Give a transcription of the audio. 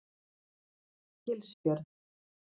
Gilsfjörð